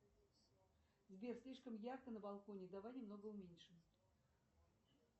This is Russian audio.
сбер слишком ярко на балконе давай немного уменьшим